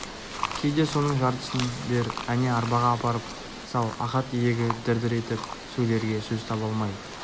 кейде соның жартысын бер әне арбаға апарып сал ахат иегі дір-дір етіп сөйлерге сөз таба алмай